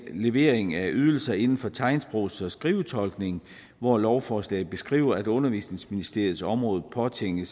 levering af ydelser inden for tegnsprogs og skrivetolkning hvor lovforslaget beskriver at undervisningsministeriets område påtænker